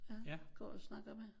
Ja går og snakker med